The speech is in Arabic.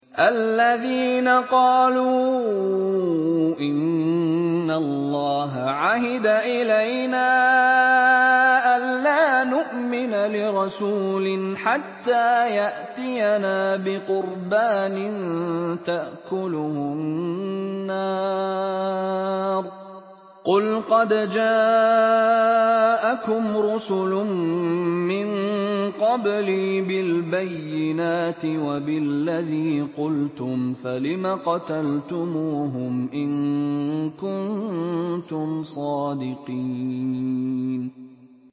الَّذِينَ قَالُوا إِنَّ اللَّهَ عَهِدَ إِلَيْنَا أَلَّا نُؤْمِنَ لِرَسُولٍ حَتَّىٰ يَأْتِيَنَا بِقُرْبَانٍ تَأْكُلُهُ النَّارُ ۗ قُلْ قَدْ جَاءَكُمْ رُسُلٌ مِّن قَبْلِي بِالْبَيِّنَاتِ وَبِالَّذِي قُلْتُمْ فَلِمَ قَتَلْتُمُوهُمْ إِن كُنتُمْ صَادِقِينَ